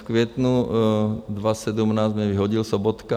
V květnu 2017 mě vyhodil Sobotka.